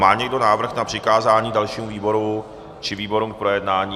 Má někdo návrh na přikázání dalšímu výboru či výborům k projednání?